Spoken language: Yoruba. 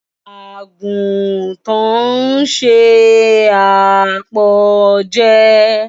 Àgùntàn ń se àpọ̀jẹ.